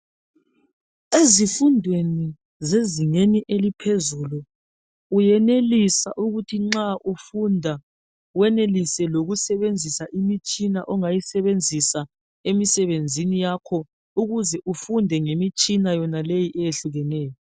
Ezifundweni zezingeni eliphezulu uyenelisa ukuthi nxa ufunda, wenelise lokusebenzisa imitshina ongayesebenzisa emisebenzini yakho ukuze ufunde ngemitshina yonaleyi eyehlukeneyo.